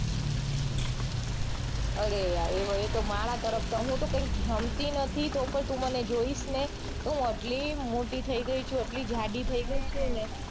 અરે યાર એતો મારા તરફથી હૂતો કૈંક નમતી નથી એટલી મોટી થઇ ગઈ છું એટલી જાડી થઇ ગઈ છું ને